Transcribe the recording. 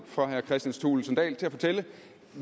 for herre kristian thulesen dahl til at fortælle